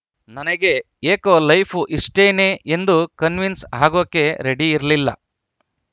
ನನಗೆ ಏಕೋ ಲೈಫು ಇಷ್ಟೇನೇ ಎಂದು ಕನ್ವೀನ್ಸ್‌ ಆಗೋಕೆ ರೆಡಿ ಇರ್ಲಿಲ್ಲ